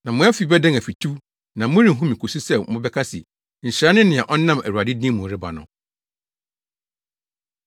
Na mo afi bɛdan afituw na morenhu me kosi sɛ mobɛka se, ‘Nhyira ne nea ɔnam Awurade din mu reba no!’ ”